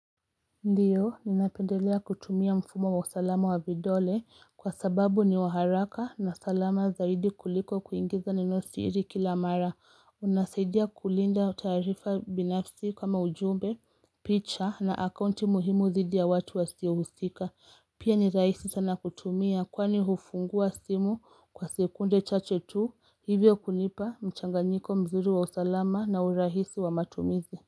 Ndiyo, ninapendelea kutumia mfumo wa usalama wa vidole kwa sababu ni wa haraka na salama zaidi kuliko kuingiza neno siri kila mara. Unasaidia kulinda taarifa binafsi kama ujumbe, picha na akaunti muhimu dhidi ya watu wa siuhusika. Pia ni raisi sana kutumia kwani hufungua simu kwa sekunde chache tu hivyo kunipa mchanganiko mzuri wa usalama na urahisi wa matumizi.